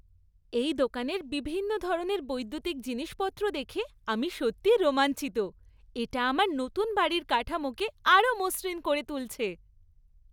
এই দোকানের বিভিন্ন ধরনের বৈদ্যুতিক জিনিসপত্র দেখে আমি সত্যিই রোমাঞ্চিত। এটা আমার নতুন বাড়ির কাঠামোকে আরও মসৃণ করে তুলছে।